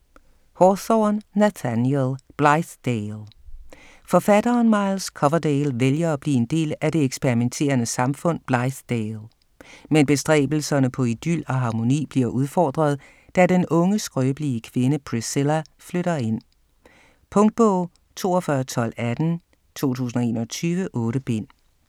Hawthorne, Nathaniel: Blithedale Forfatteren Miles Coverdale vælger at blive en del af det eksperimenterende samfund Blithedale. Men bestræbelserne på idyl og harmoni bliver udfordret, da den unge skrøbelige kvinde Priscilla flytter ind. Punktbog 421218 2021. 8 bind.